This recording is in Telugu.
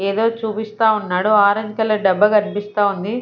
ఏదో చూపిస్తా ఉన్నాడు ఆరెంజ్ కలర్ డబ్బా కనిపిస్తా ఉంది.